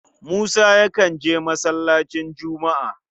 Musa yakan je masallacin Jumu'a.